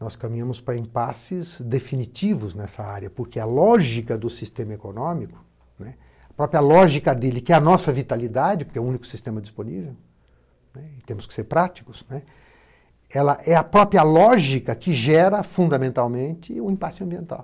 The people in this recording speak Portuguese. Nós caminhamos para impasses definitivos nessa área, porque a lógica do sistema econômico, a própria lógica dele, que é a nossa vitalidade, porque é o único sistema disponível, temos que ser práticos, ela é a própria lógica que gera fundamentalmente o impasse ambiental.